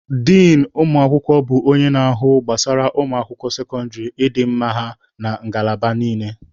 Din ụmụ akwụkwọ bụ onye na-ahụ gbasara ụmụ akwụkwọ sekọndịrị, ịdị mma ha na ngalaba niile.